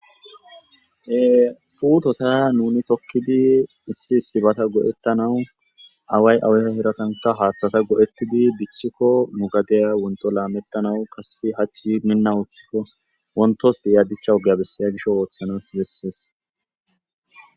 Ee puuttota nuni tokkidi issi issibata go'ettanawu away awaiza herattanka haaththata go'ettidi dichchikko nu gadeya wontto lamettanawu kassi hachchi miina ooththikko wonttos diya dichcha oogeya bessaya gisho ooththanas bessees